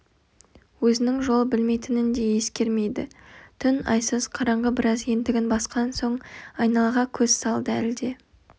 өзінің жол білмейтінін де ескермейді түн айсыз қараңғы біраз ентігін басқан соң айналаға көз салды әлде